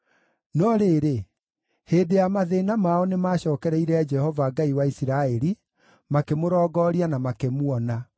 No rĩrĩ, hĩndĩ ya mathĩĩna mao nĩmacookereire Jehova, Ngai wa Isiraeli, makĩmũrongooria na makĩmuona.